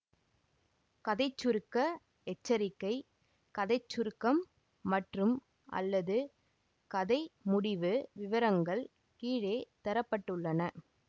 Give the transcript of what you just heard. கதை சுருக்க எச்சரிக்கை கதை சுருக்கம் மற்றும்அல்லது கதை முடிவு விவரங்கள் கீழே தர பட்டுள்ளன